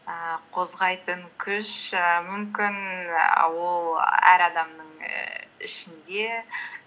ііі қозғайтын күш і мүмкін ол әр адамның ішінде